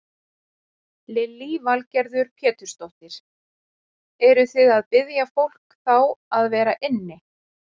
Lillý Valgerður Pétursdóttir: Eruð þið að biðja fólk þá að vera inni?